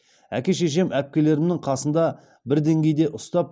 әке шешем әпкелерімнің қасында бір деңгейде ұстап